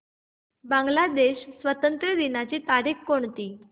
बांग्लादेश स्वातंत्र्य दिनाची तारीख कोणती